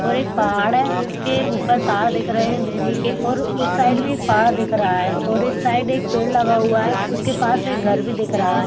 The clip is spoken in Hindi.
और एक पहाड़ है जिसके ऊपर तार दिख रहे है बिजली के और उस साइड भी एक पहाड़ दिख रहा है। और इस साइड एक पेड़ लगा हुआ है उसके पास एक घर भी दिख रहा है।